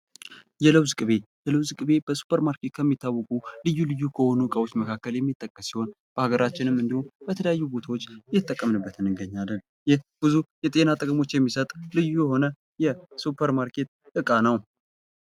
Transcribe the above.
የለውዝ ቅቤ ። የለውዝ ቅቤ በሱፐር ማርኬት የሚታወቁ ልዩ ልዩ ከሆኑ እቃዎች መካከል የሚጠቀስ ሲሆን በሀገራችን እንዲሁም በተለያዩ ቦታዎች እየተጠቀምንበት እንገኛለን ። ይህ ብዙ የጤና ጥቅሞች የሚሰጥ ልዩ የሆነ የሱፐር ማርኬት እቃ ነው ።